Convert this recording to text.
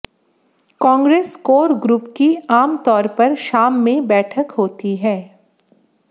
Congress core group की आम तौर पर शाम में बैठक होती है